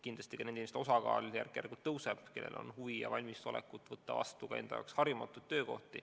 Kindlasti kasvab nende inimeste osakaal, kellel on huvi ja valmisolek võtta vastu enda jaoks harjumatu töökoht.